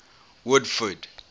woodford